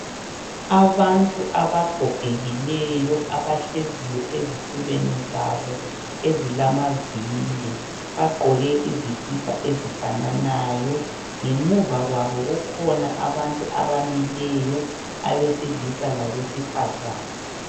Abantu abagogekileyo, abahleziyo ezitulweni zabo ezilamavili. Bagqoke izikipa ezifananayo. Ngemuva kwabo, kukhona abantu abamileyo. Abesilisa, labesifazana.